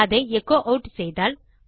அதை echo add செய்தால்